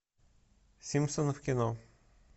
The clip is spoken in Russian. симпсоны в кино